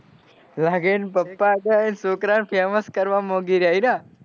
લાગે એન પપ્પા એન છોકરા ને famous કરવા માગી રહ્યા ના